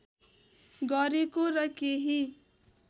गरेको र केही